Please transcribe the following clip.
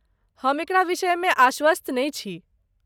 हम एकरा विषयमे आश्वस्त नहि छी।